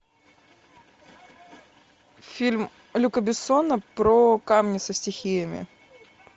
фильм люка бессона про камни со стихиями